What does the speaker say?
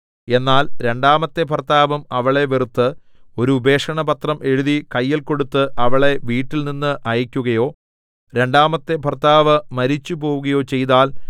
എന്നാൽ രണ്ടാമത്തെ ഭർത്താവും അവളെ വെറുത്ത് ഒരു ഉപേക്ഷണപത്രം എഴുതി കയ്യിൽ കൊടുത്ത് അവളെ വീട്ടിൽനിന്ന് അയയ്ക്കുകയോ രണ്ടാമത്തെ ഭർത്താവ് മരിച്ചുപോവുകയോ ചെയ്താൽ